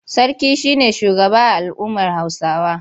Sarki shi ne shugaba a al'ummar Hausawa.